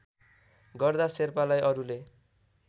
गर्दा शेर्पालाई अरूले